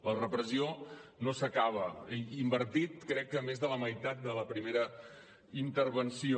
la repressió no s’acaba hi he invertit crec que més de la meitat de la primera intervenció